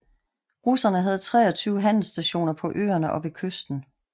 Russerne havde 23 handelsstationer på øerne og ved kysten